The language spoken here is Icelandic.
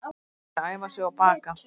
Þau munu æfa sig og baka